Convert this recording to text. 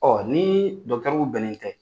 ni bɛnen tɛ.